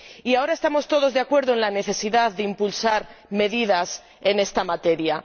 Y ahora estamos todos de acuerdo en la necesidad de impulsar medidas en esta materia.